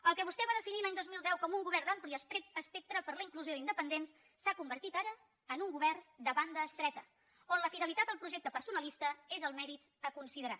el que vostè va definir l’any dos mil deu com un govern d’ampli espectre per la inclusió d’independents s’ha convertit ara en un govern de banda estreta on la fidelitat al projecte personalista és el mèrit a considerar